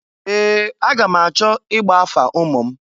Ee! Aga m achọ igba afa ụmụ m.